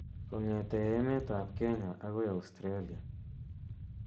Kongete emet ap kenya akoi Australia ,